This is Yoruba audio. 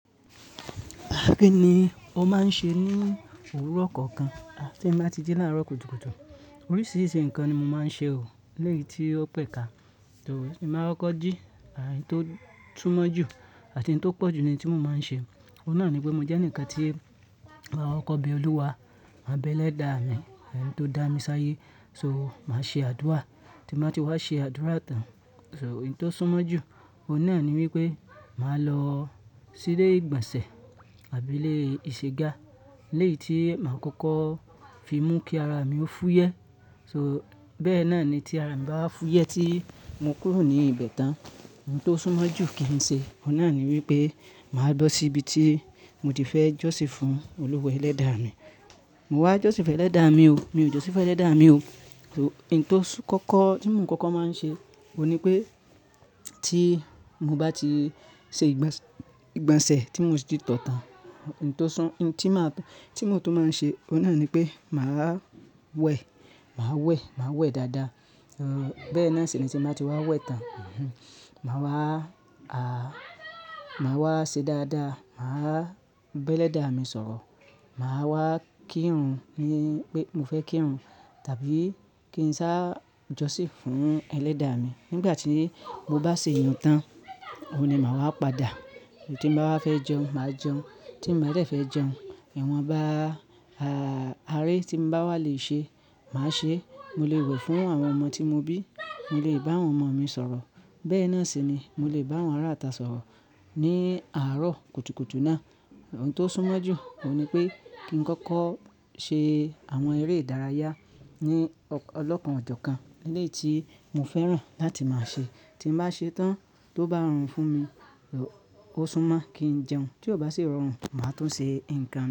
Bá mi ní, ó máa ń ṣe ní òwúrọ̀ kọ̀ọ̀kan tí ń bá ti dé láàárọ̀ kùtùkùtù. Oríṣiríṣi nǹkan ni mo máa ń ṣe o, eléyìí tí ó pẹ̀kà. Tiba koko ji, oun to súmọ́ jù àti ohun tó pọ̀jù ni tí mo máa ń ṣe. Oun náà ni pé mo jẹ́ nǹkan tí akọkọ̀ be Olúwa, máa bẹ́ elẹ̀dá mi, eni tó dá mi sáyé. So, màá ṣe àdúrà, tí mo bá ti wá ṣe àdúrà tán. So, ohun tó súnmọ́ jù, o náà ni wípé màá lọ sí ilé ìgbọ̀nsẹ̀ tàbí ilé ìṣègá eléyìí tí màá kọ́kọ́ fi mú kí ara mi kó fúyẹ́. So, bẹ́ẹ́ náà ni tí ara ń bá fúyẹ́ tí mo kúrò ní ibẹ̀ tán. Ohun tó súnmọ́ jù kí n ṣe, o náà ni wípé màá lọ sí ibi tí mo ti fẹ́ jọ́sìn fún olúwa elẹ́dà mi. Mo wá jọ́sìn fẹ́ lẹ́dà mi o, mi ò jọ́sìn fẹ́ lẹ́dà mi o. So, ohun tó sún kọ́kọ́ tí mo kọ́kọ́ máa ń ṣe, òun ni pé tí mo bá ti ṣe ìgbọ̀nsẹ̀ tí mo ti tọ̀ tán, ohun tó sán, ohun tí màá tún, tí mo tún máa ń ṣe, o náà ni pé màá wẹ̀, màá wẹ̀, màá wẹ̀ dáadáa. Bẹ́ẹ́ náà sì ni tí mo bá ti wá wẹ̀ tán. Màá wá, à, màá wá ṣe dáadáa. Màá bá ẹlẹ́dà mi sọ̀rọ̀. Màá wá kírun ni pé mo fẹ́ kírun tàbí kí n sá jọ́sìn fún ẹlẹ́dà mi. Nígbà tí mo bá ṣe ìyèn tán, òun ni màá wá padà. Tí mo bá wá fẹ́ jẹun, màá jẹun. Tí mo ba fẹ́ jẹun, ẹ̀wọ̀n bá, a, aré tí mo bá wá lè ṣe, màá ṣe. Mo lè wẹ̀ fún àwọn ọmọ tí mo bí. Mo lè bá àwọn ọmọ mi sọ̀rọ̀. Bẹ́ẹ́ náà sì ni, mo lè bá àwọn ará ata sọ̀rọ̀ ní àárọ̀ kùtùkùtù náà. Ohun tó súnmọ́ jù, òun ni pé kí n kọ́kọ́ ṣe àwọn eré ìdárayá ní ọlọ́pọ́n ọjọ́ kan léyìí tí mo fẹ́ràn láti máa ṣe. Tí mo bá ṣe tán, tó bá rọrùn fún mi, o súnmọ́ kí n jẹun. Tí ò bá sì rọrùn, màá tún ṣe ǹkan.